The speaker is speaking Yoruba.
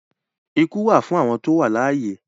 Ikú wà fún awọn tó wà alàìyé